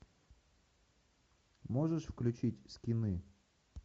можешь включить скины